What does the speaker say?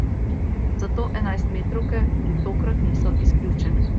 Zato enajstmetrovke tudi tokrat niso izključene.